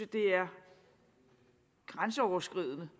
det er grænseoverskridende